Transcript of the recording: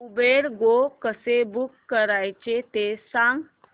Uber Go कसं book करायचं ते सांग